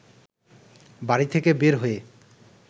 বাড়ি থেকে বের হয়ে